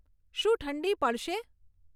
શું ઠંડી પડશે